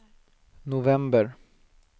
november